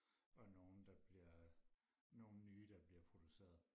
og nogle der bliver nogle nye der bliver produceret